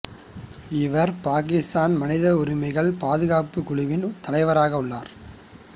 இவர் பாக்கித்தானின் மனித உரிமைகள் பாதுகாப்பு குழுவின் தலைவராக உள்ளார்